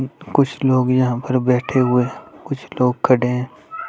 कुछ लोग यहां पर बैठे हुए कुछ लोग खड़े है ।